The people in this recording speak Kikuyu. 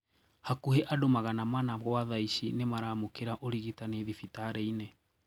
Hakũhĩ andũ magana mana gwa thaici nĩmaraamũkĩra ũrigitani thibitarĩ-inĩ